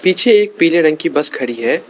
एक पीले रंग की बस खड़ी है।